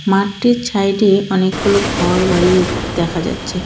মাঠটির ছাইডে অনেকগুলো ঘরবাড়িও দেখা যাচ্ছে।